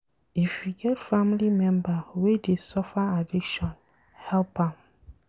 If you get family member wey dey suffer addiction, help am.